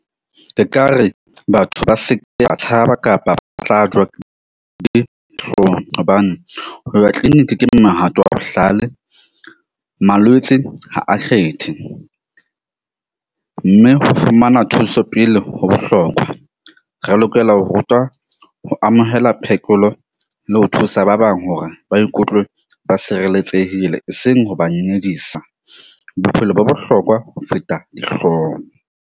E ka re batho ba seke, ba tshaba kapa ba tla jowa ke dihlohong. Hobane ho ya clinic ke mohato o bohlale. Malwetse ha a kgethe mme ho fumana thuso pele ho bohlokwa, re lokela ho rutwa ho amohela phekolo le ho thusa ba bang hore ba ikutlwe ba sireletsehile, eseng ho ba nyedisa. Bophelo bo bohlokwa ho feta dihlong.